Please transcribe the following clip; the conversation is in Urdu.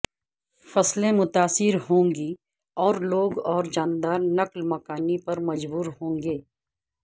فصلیں متاثر ہوں گی اور لوگ اور جاندار نقل مکانی پر مجبور ہوں گے